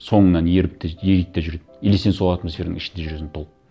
соңыңнан еріп то есть ериді де жүреді или сен сол атмосфераның ішінде жүресің толып